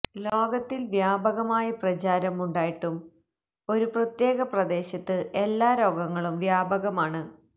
ലോകത്തിൽ വ്യാപകമായ പ്രചാരം ഉണ്ടായിട്ടും ഒരു പ്രത്യേക പ്രദേശത്ത് എല്ലാ രോഗങ്ങളും വ്യാപകമാണ്